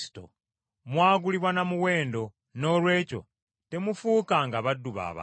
Mwagulibwa na muwendo noolwekyo temufuukanga baddu ba bantu.